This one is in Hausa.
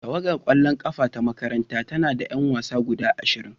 Tawagar kwallon kafa ta makarantar tana da 'yan wasa guda ashirin.